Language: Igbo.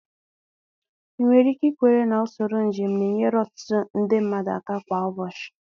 2. Ị nwere ike ikwere na usoro njem na-enyere ọtụtụ nde mmadụ aka kwa ụbọchị?